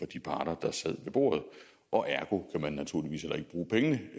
de parter der sad ved bordet og ergo kan man naturligvis heller ikke bruge pengene